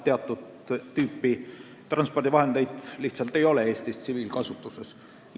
Teatud tüüpi transpordivahendeid Eestis tsiviilkasutuses lihtsalt ei ole.